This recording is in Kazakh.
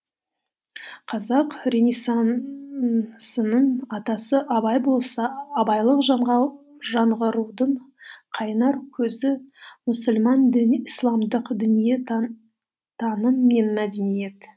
қазақ ренессансының атасы абай болса абайлық жаңғырудың қайнар көзі мұсылман діні исламдық дүниетаным мен мәдениет